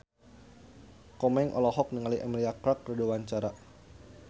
Komeng olohok ningali Emilia Clarke keur diwawancara